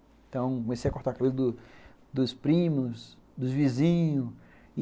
Então comecei a cortar cabelo do dos primos, dos vizinhos.